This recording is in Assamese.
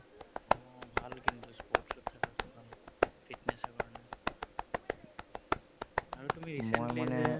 আৰু তুমি recently যে